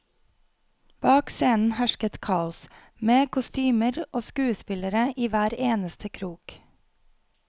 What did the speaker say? Bak scenen hersket kaos, med kostymer og skuespillere i hver eneste krok.